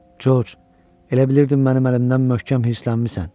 George, elə bilirdin mənim əlimdən möhkəm hirslənmisən.